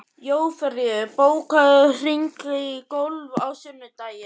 Jófríður, bókaðu hring í golf á sunnudaginn.